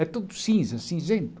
É tudo cinza, cinzento.